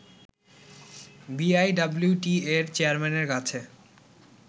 বিআইডব্লিউটিএর চেয়ারম্যানের কাছে